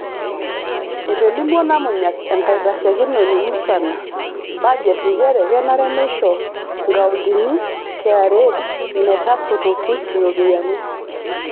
Etolimuo Namunyak, enkaitashekinoni musana baget nchere kenare neisho nkaontini KRA metasotoki iropiyiani.